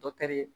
Dɔkitɛri